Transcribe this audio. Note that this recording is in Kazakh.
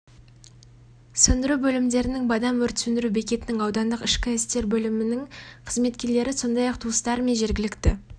сөндіру бөлімдерінің бадам өрт сөндіру бекетінің аудандық ішкі істер бөлімінің қызметкерлері сондай-ақ туыстары мен жергілікті